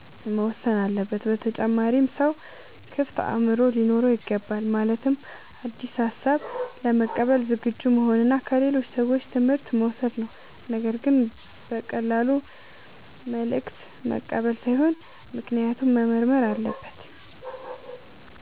መወሰን አለበት። በተጨማሪም ሰው ክፍት አእምሮ ሊኖረው ይገባል። ማለትም አዲስ ሐሳብ ለመቀበል ዝግጁ መሆን እና ከሌሎች ሰዎች ትምህርት መውሰድ ነው። ነገር ግን በቀላሉ መልእክት መቀበል ሳይሆን ምክንያቱን መመርመር አለበት።